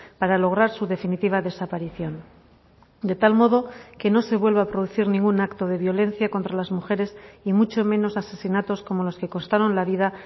para lograr su definitiva desaparición de tal modo que no se vuelva a producir ningún acto de violencia contra las mujeres y mucho menos asesinatos como los que costaron la vida a